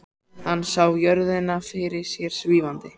Hann sá jörðina fyrir sér svífandi.